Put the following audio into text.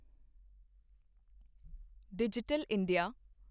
digital India